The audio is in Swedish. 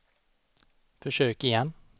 försök igen